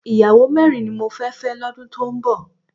Ìyàwó mẹ́rin ni mo fẹ́ fẹ́ lọ́dún tó ń bọ̀